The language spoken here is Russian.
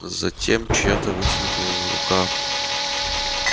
затем чья-то вытянутая рука